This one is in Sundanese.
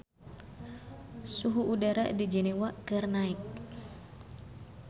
Suhu udara di Jenewa keur naek